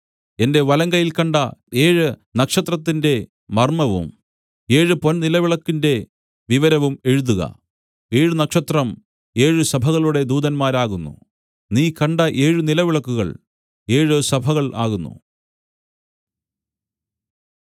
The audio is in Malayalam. എന്റെ വലങ്കയ്യിൽ കണ്ട ഏഴ് നക്ഷത്രത്തിന്റെ മർമ്മവും ഏഴ് പൊൻനിലവിളക്കിന്റെ വിവരവും എഴുതുക ഏഴ് നക്ഷത്രം ഏഴ് സഭകളുടെ ദൂതന്മാരാകുന്നു നീ കണ്ട ഏഴ് നിലവിളക്കുകൾ ഏഴ് സഭകൾ ആകുന്നു